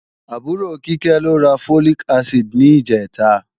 Àbúrò Kíkẹ́ lọ ra Folic acid ní ìjẹ̀ta